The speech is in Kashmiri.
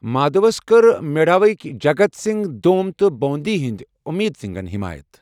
مادھوس کٔر میواڑٕکہِ جگت سنگھ دوم تہٕ بوُندی ہٕندِ اٗمید سنگن حِمایت۔